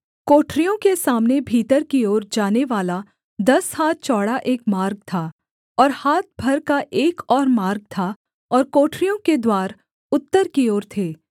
कोठरियों के सामने भीतर की ओर जानेवाला दस हाथ चौड़ा एक मार्ग था और हाथ भर का एक और मार्ग था और कोठरियों के द्वार उत्तर की ओर थे